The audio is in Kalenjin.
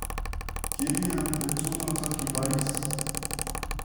Kiilya petut notok kibaariis?